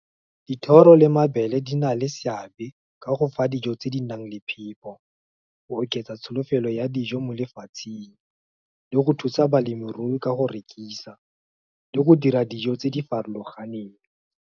Dithoro le mabele di na le seabe, ka go fa dijo tse di nang le phepo, go oketsa tsholofelo ya dijo mo lefatsheng, le go thusa balemirui ka go rekisa, le go dira dijo tse di farologaneng.